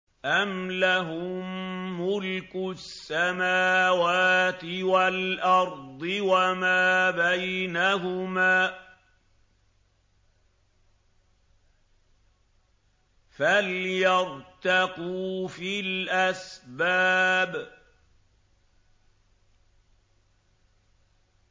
أَمْ لَهُم مُّلْكُ السَّمَاوَاتِ وَالْأَرْضِ وَمَا بَيْنَهُمَا ۖ فَلْيَرْتَقُوا فِي الْأَسْبَابِ